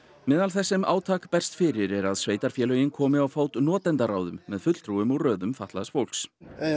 meðal þess sem átak berst fyrir er að sveitarfélögin komi á fót með fulltrúum úr röðum fatlaðs fólks